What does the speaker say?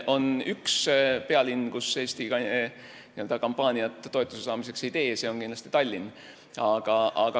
On üks pealinn, kus Eesti toetuse saamiseks kampaaniat ei tee – see on Tallinn.